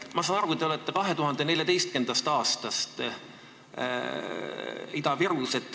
Ma saan aru, et te olete 2014. aastast Ida-Virus.